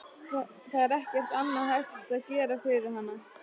Það er ekkert annað hægt að gera fyrir hana.